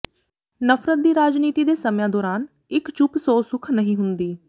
ਨਫ਼ਰਤ ਦੀ ਰਾਜਨੀਤੀ ਦੇ ਸਮਿਆਂ ਦੌਰਾਨ ਇੱਕ ਚੁੱਪ ਸੌ ਸੁੱਖ ਨਹੀਂ ਹੁੰਦੀ